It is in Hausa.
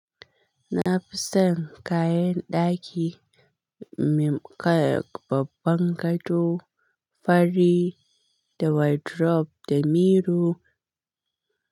Na fi son kayan ɗaki, kamar babban gado, fari da wardrobe da miro.